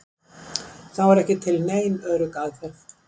Þó er ekki til nein örugg aðferð.